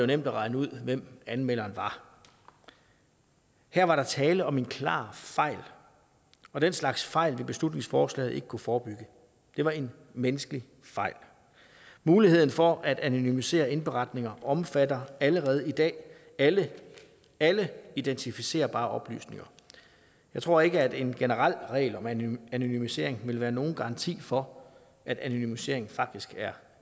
nemt at regne ud hvem anmelderen var her var der tale om en klar fejl og den slags fejl vil beslutningsforslaget ikke kunne forebygge det var en menneskelig fejl muligheden for at anonymisere indberetninger omfatter allerede i dag alle alle identificerbare oplysninger jeg tror ikke at en generel regel om anonymisering vil være nogen garanti for at anonymiseringen faktisk er